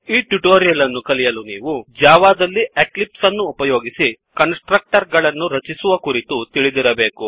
ಈ ಟ್ಯುಟೋರಿಯಲ್ ಅನ್ನು ಕಲಿಯಲು ನೀವು ಜಾವಾದಲ್ಲಿ ಎಕ್ಲಿಪ್ಸ್ ಅನ್ನು ಉಪಯೋಗಿಸಿ ಕನ್ಸ್ ಟ್ರಕ್ಟರ್ ಗಳನ್ನು ರಚಿಸುವ ಕುರಿತು ತಿಳಿದಿರಬೇಕು